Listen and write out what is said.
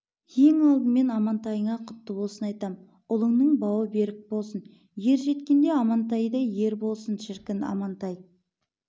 ең алдымен амантайыңа құтты болсын айтам ұлыңның бауы берік болсын ер жеткенде амантайдай ер болсын шіркін амантай